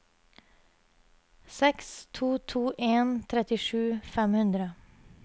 seks to to en trettisju fem hundre